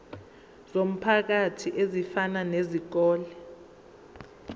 zomphakathi ezifana nezikole